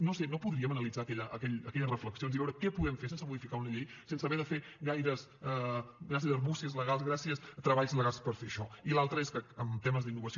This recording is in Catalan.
no ho sé no podríem analitzar aquelles reflexions i veure què podem fer sense modificar una llei sense haver de fer gaires argúcies legals gaires treballs legals per fer això i l’altre és que en temes d’innovació